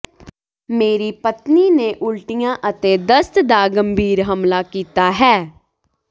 ਮੇਰੀ ਪਤਨੀ ਨੇ ਉਲਟੀਆਂ ਅਤੇ ਦਸਤ ਦਾ ਗੰਭੀਰ ਹਮਲਾ ਕੀਤਾ ਹੈ